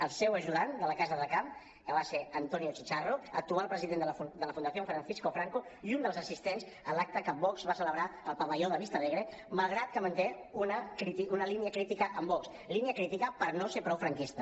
el seu ajudant de la casa de camp que va ser antonio chicharro actual president de la fundación francisco franco i un dels assistents en l’acte que vox va celebrar al pavelló de vistalegre malgrat que manté una línia crítica amb vox línia crítica per no ser prou franquista